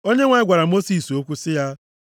Onyenwe anyị gwara Mosis okwu sị ya,